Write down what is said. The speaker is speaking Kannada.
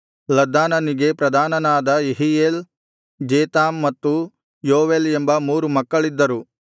ಲದ್ದಾನನಿಗೆ ಪ್ರಧಾನನಾದ ಯೆಹೀಯೇಲ್ ಜೇತಾಮ್ ಮತ್ತು ಯೋವೇಲ್ ಎಂಬ ಮೂರು ಮಕ್ಕಳಿದ್ದರು